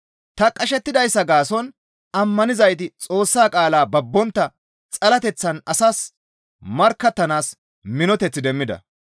Ta qashettidayssa gaason ammanizayti Xoossa qaalaa babbontta xalateththan asas markkattanaas minoteth demmida.